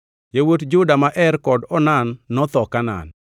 Yawuot Juda ma Er kod Onan notho Kanaan.